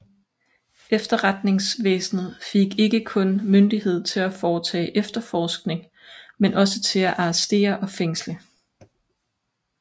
Efterretningsvæsenet fik ikke kun myndighed til at foretage efterforskning men også til at arrestere og fængsle